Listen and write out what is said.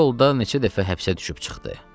Bu yolda neçə dəfə həbsə düşüb çıxdı.